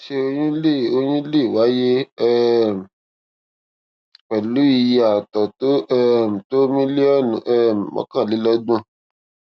ṣé oyún lè oyún lè wáyé um pẹlú iye àtọ tó um tó mílíọnù um mọkànlelọgbọn